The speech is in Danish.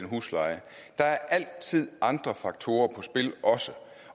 husleje der er altid andre faktorer på spil